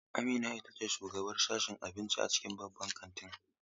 Amina ita ce shugabar sashen abinci a cikin babban kantin.